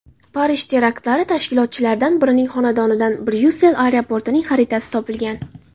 Parij teraktlari tashkilotchilaridan birining xonadonidan Bryussel aeroportining xaritasi topilgan.